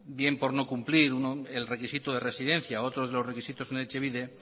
bien por no cumplir el requisito de residencia u otros de los requisitos en etxebide